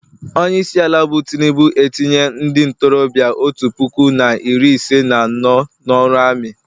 Onye isiala bụ tinubu etinye ndị ntorobịa otu puku na iri ise na anọ n'ọrụ ami